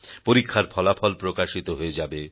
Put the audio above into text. পরীক্ষার ফলাফল প্রকাশিত হয়ে যাবে